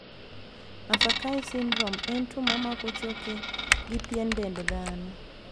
Maffucci syndrome en tuo mamako choke gi pien dend dhano.